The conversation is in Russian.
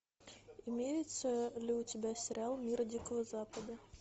имеется ли у тебя сериал мир дикого запада